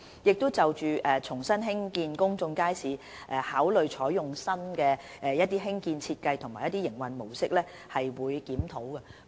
由於在重新興建公眾街市時，當局會考慮採用新的興建設計和營運模式，所以我們會進行檢視。